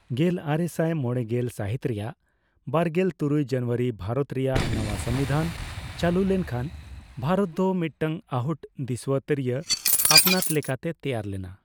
ᱜᱮᱞᱟᱨᱮᱥᱟᱭ ᱢᱚᱲᱮᱜᱮᱞ ᱥᱟᱦᱤᱛ ᱨᱮᱭᱟᱜ ᱵᱟᱨᱜᱮᱞ ᱛᱩᱨᱩᱭ ᱡᱟᱱᱩᱣᱟᱨᱤ ᱵᱷᱟᱨᱚᱛ ᱨᱮᱭᱟᱜ ᱱᱟᱣᱟ ᱥᱚᱝᱵᱤᱫᱷᱟᱱ ᱪᱟᱹᱞᱩ ᱞᱮᱱᱠᱷᱟᱱ ᱵᱷᱟᱨᱚᱛ ᱫᱚ ᱢᱤᱫᱴᱟᱝ ᱟᱦᱩᱴ ᱫᱤᱥᱩᱣᱟᱹᱛᱟᱹᱨᱤᱭᱟᱹ ᱟᱹᱯᱱᱟᱹᱛ ᱞᱮᱠᱟᱛᱮ ᱛᱮᱭᱟᱨ ᱞᱮᱱᱟ ᱾